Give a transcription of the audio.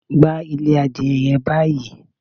Gbá ilé adìẹ yẹn báyìí!